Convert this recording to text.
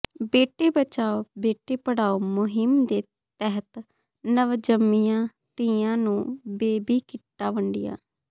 ਬੇਟੀ ਬਚਾੳ ਬੇਟੀ ਪੜਾਉ ਮੁਹਿੰਮ ਦੇ ਤਹਿਤ ਨਵਜੰਮੀਆਂ ਧੀਆਂ ਨੂੰ ਬੇਬੀ ਕਿੱਟਾਂ ਵੰਡੀਆਂ